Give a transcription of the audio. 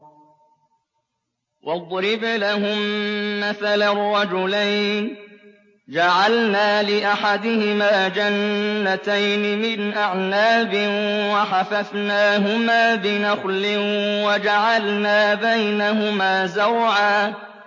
۞ وَاضْرِبْ لَهُم مَّثَلًا رَّجُلَيْنِ جَعَلْنَا لِأَحَدِهِمَا جَنَّتَيْنِ مِنْ أَعْنَابٍ وَحَفَفْنَاهُمَا بِنَخْلٍ وَجَعَلْنَا بَيْنَهُمَا زَرْعًا